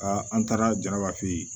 an taara janaba fe yen